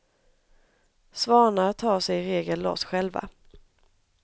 Svanar tar sig i regel loss själva.